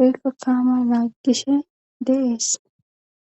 oykka kaama laaggishe deees.